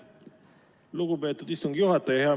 Lugupeetud istungi juhataja!